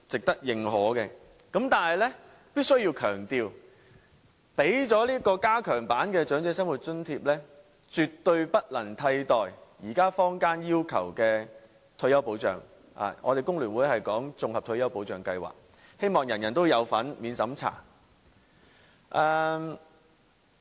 但是，我必須要強調，政府即使提供加強版的長者生活津貼，也絕對不能替代現在坊間要求的退休保障，工聯會則稱之為綜合退休保障計劃，希望人人有份、免審查。